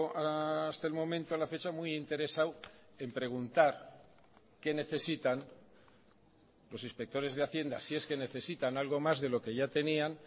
hasta el momento a la fecha muy interesado en preguntar qué necesitan los inspectores de hacienda si es que necesitan algo más de lo que ya tenían